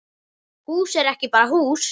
Hús er ekki bara hús.